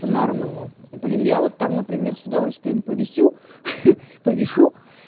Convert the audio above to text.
бинарному блин я вот там например с удовольствием повесю ха повешу